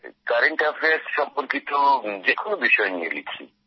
current affairs সম্পর্কিত যেকোনো বিষয় নিয়ে লিখি